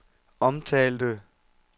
omtalte